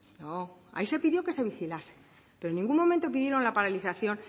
no ahí se pidió que se vigilase pero en ningún momento pidieron la paralización